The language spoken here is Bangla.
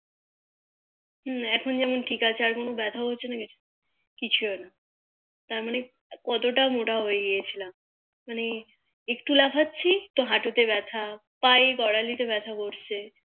এখন যেমন ঠিক আছে আর কোনো বেথা হচ্ছে না আর কিছু না তারমানে কতটা মোটা হয়ে গিয়েছিলাম মানে একটু লাফাচ্ছি তো হাঁটুতে বেথা পায়ে গোড়া তে বেথা করছে